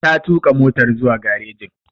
Ta tuƙa motar zuwa garejin.